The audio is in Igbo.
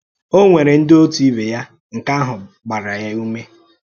Ó nwèrè ndị òtù ìbè ya, nke àhụ̀ gbàrà ya ùmè.